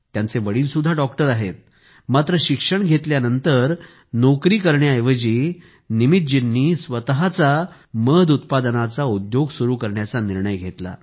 त्यांचे वडील सुद्धा डॉक्टर आहेत मात्र शिक्षण घेतल्यानंतर नोकरी करण्याच्या ऐवजी निमितजींनी स्वतःचा उद्योग सुरु करण्याचा निर्णय घेतला